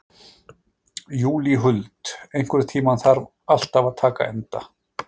Júlíhuld, einhvern tímann þarf allt að taka enda.